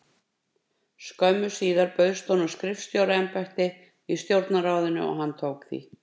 Skömmu síðar bauðst honum skrifstofustjóra- embætti í Stjórnarráðinu og tók hann því.